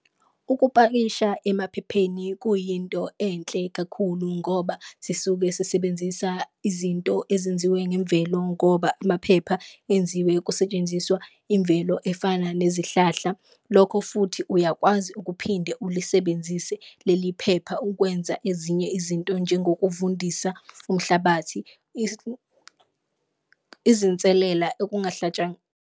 Ukupakisha emaphepheni kuyinto enhle kakhulu ngoba sisuke sisebenzisa izinto ezenziwe ngemvelo, ngoba amaphepha enziwe kusetshenziswa imvelo efana nezihlahla. Lokho futhi khona uyakwazi ukuphinde ulisebenzise leli phepha ukwenza ezinye izinto njengokuvundisa umhlabathi izinselela okungahlatshwanga.